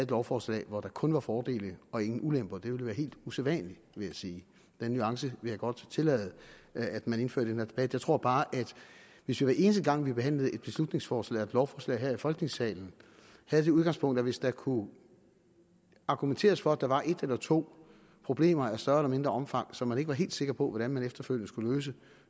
lovforslag hvor der kun var fordele og ingen ulemper det ville være helt usædvanligt vil jeg sige den nuance vil jeg godt tillade at man indfører her debat jeg tror bare at hvis vi hver eneste gang vi behandlede et beslutningsforslag eller et lovforslag her i folketingssalen havde det udgangspunkt at hvis der kunne argumenteres for at der var et eller to problemer af større eller mindre omfang som man ikke var helt sikker på hvordan man efterfølgende skulle løse